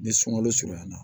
Ni sunkalo surunya na